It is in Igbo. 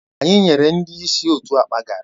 Anyị nyere ndị ìsì otu akpa garri